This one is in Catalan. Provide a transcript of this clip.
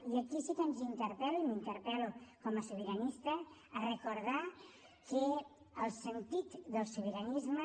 i aquí sí que ens interpel·lo i m’interpel·lo com a sobiranista a recordar que el sentit del sobiranisme